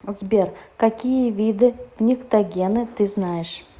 сбер какие виды пниктогены ты знаешь